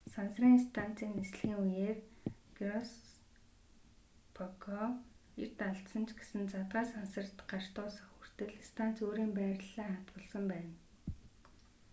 сансрын станцын нислэгийн үеэр гироскопоо эрт алдсан ч гэсэн задгай сансарт гарч дуусах хүртэл станц өөрийн байрлалаа хадгалсан байна